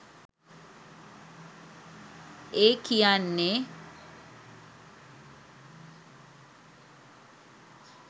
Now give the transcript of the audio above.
ඒ කියන්නෙ